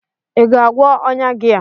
ị ga-agwọ ọnya gị a?